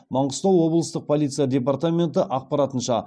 маңғыстау облыстық полиция департаменті ақпарынша